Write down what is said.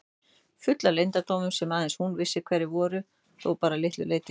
Full af leyndardómum sem aðeins hún vissi hverjir voru þó bara að litlu leyti.